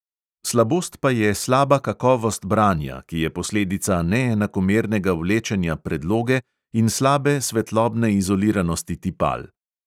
Slabost pa je slaba kakovost branja, ki je posledica neenakomernega vlečenja predloge in slabe svetlobne izoliranosti tipal.